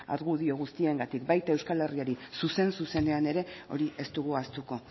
argudio guztiengatik baita euskal herriari zuzen zuzenean ere hori ez dugu ahaztuko